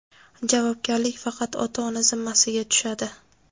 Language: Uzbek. javobgarlik faqat ota-ona zimmasiga tushadi..